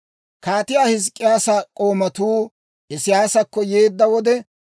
Kaatiyaa Hizk'k'iyaasa k'oomatuu Isiyaasakko yeedda wode,